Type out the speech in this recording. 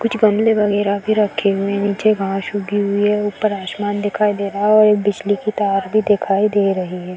कुछ गमले वगैरा भी रखे हुए हैं। नीचे घास उगी हुई है। ऊपर आसमान दिखाई दे रहा है और एक बिजली की तार भी दिखाई दे रही है।